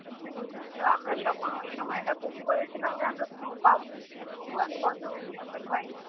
তো আমরা যখন ওই সময়টা book করেছিলাম যে আমরা snow পাবো কিন্তু unfortunately আমরা পাইনি